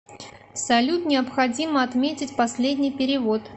салют необходимо отметить последний перевод